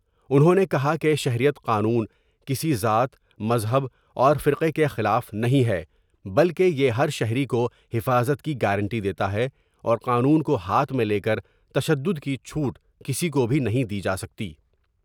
انہوں نے کہا کہ شہریت قانون کسی ذات ، مذہب اور فرقے کے خلاف نہیں ہے بلکہ یہ ہر شہری کو حفاظت کی گارنٹی دیتا ہے اور قانون کو ہاتھ میں لیکر تشدد کی چوٹ کسی کو بھی نہیں دی جاسکتی ۔